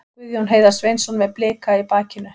Guðjón Heiðar Sveinsson með Blika í bakinu.